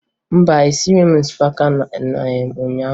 Mba, esighi m osikapa ụnyaahụ